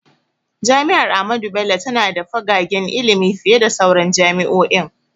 Jami’ar Ahmadu Bello tana da fagagen ilimi fiye da sauran jami’o’in.